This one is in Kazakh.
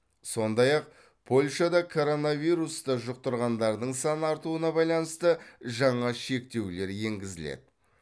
сондай ақ польшада коронавирусты жұқтырғандардың саны артуына байланысты жаңа шектеулер енгізіледі